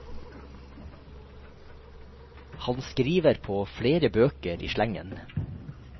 Han skriver på flere bøker i slengen.